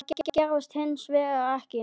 Það gerðist hins vegar ekki.